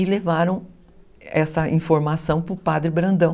E levaram essa informação para o Padre Brandão.